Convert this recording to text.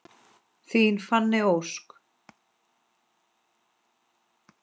Þín Fanney Ósk.